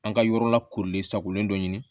An ka yɔrɔ lakorilen sakolen dɔ ɲini